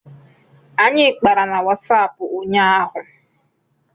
Anyị kpara na Wasapụ ụnyaahụ